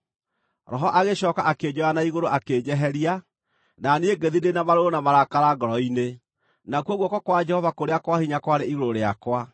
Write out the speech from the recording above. Roho agĩcooka akĩnjoya na igũrũ akĩnjeheria, na niĩ ngĩthiĩ ndĩ na marũrũ na marakara ngoro-inĩ, nakuo guoko kwa Jehova kũrĩa kwa hinya kwarĩ igũrũ rĩakwa.